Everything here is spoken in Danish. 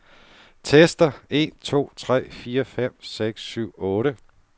Tester en to tre fire fem seks syv otte.